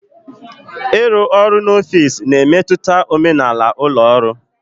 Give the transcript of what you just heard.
Ịrụ ọrụ n'ọfịs na-emetụta omenala ụlọ ọrụ